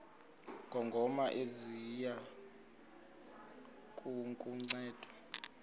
ngongoma ziya kukunceda